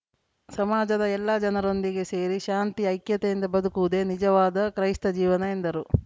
ಸಮಾಜದ ಎಲ್ಲ ಜನರೊಂದಿಗೆ ಸೇರಿ ಶಾಂತಿ ಐಕ್ಯತೆಯಿಂದ ಬದುಕುವುದೇ ನಿಜವಾದ ಕ್ರೈಸ್ತ ಜೀವನ ಎಂದರು